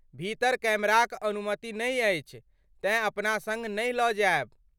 भीतर कैमराक अनुमति नहि अछि तेँ अपना सङ्ग नहि लऽ जायब।